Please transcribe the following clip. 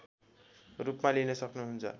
रूपमा लिन सक्नुहुन्छ